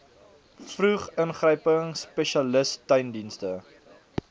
vroed ingryping spesialissteundienste